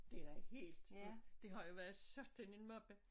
Det da helt vildt det har jo været sådan en moppe